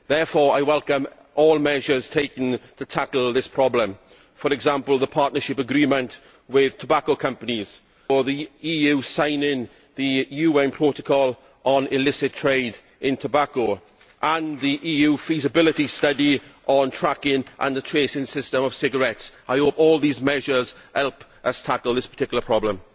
Therefore, I welcome all measures taken to tackle this problem for example, the partnership agreement with tobacco companies, the EU's signing of the UN protocol on illicit trade in tobacco, and the EU feasibility study on tracking and the tracing system for cigarettes. I hope that all these measures help us tackle this particular problem.